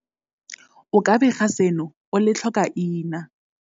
O ka bega seno o le tlhokaina.